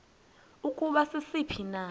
ukuba sisiphi na